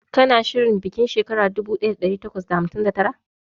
Kana shirin bikin shekara dubu daya da dari takwas da hamsin da tara?